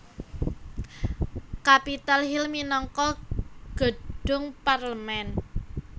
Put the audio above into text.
Capitol Hill minangka gedhung parlemen